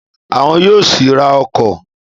Àwọn yóò sì ra ọkọ̀